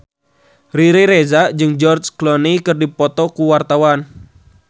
Riri Reza jeung George Clooney keur dipoto ku wartawan